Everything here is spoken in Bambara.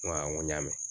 N ko awɔ n ko n y'a mɛn